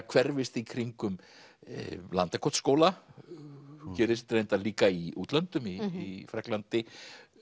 hverfist í kringum Landakotsskóla gerist reyndar líka í útlöndum í Frakklandi